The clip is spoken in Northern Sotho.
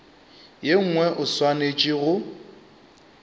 ye nngwe o swanetše go